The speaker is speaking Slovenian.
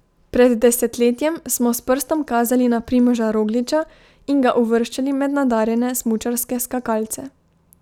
Pred desetletjem smo s prstom kazali na Primoža Rogliča in ga uvrščali med nadarjene smučarske skakalce.